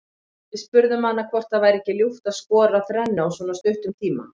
Við spurðum hana hvort það væri ekki ljúft að skora þrennu á svona stuttum tíma.